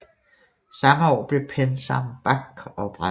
Samme år blev PenSam Bank oprettet